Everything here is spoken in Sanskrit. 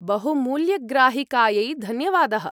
बहुमूल्यग्राहिकायै धन्यवादः।